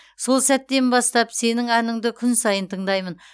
сол сәттен бастап сенің әніңді күн сайын тыңдаймын